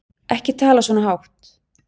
Ekki tala svona hátt.